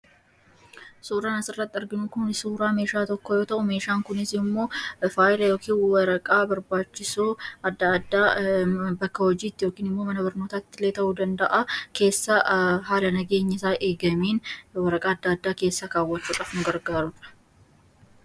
suuraa asirratti arginuu kuni suuraa meeshaa tokko yoo ta'uu meeshaan kunisii immoo faayila yookiin waraqaa barbaachisuu addaaddaa bakka hojiitti yookiin immoo mana barnootaattilee ta'uu danda'aa keessaa haala nageenyiisaa eegameen waraqaa adda addaa keessaa kaawwachuu cafuun gargaarudha.